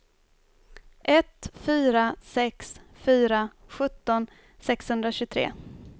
ett fyra sex fyra sjutton sexhundratjugotre